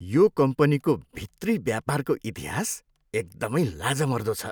यो कम्पनीको भित्री व्यापारको इतिहास एकदमै लाजमर्दो छ।